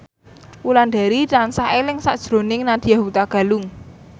Wulandari tansah eling sakjroning Nadya Hutagalung